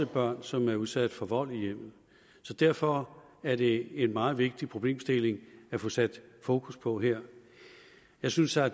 børn som er udsat for vold i hjemmet derfor er det en meget vigtig problemstilling at få sat fokus på her jeg synes at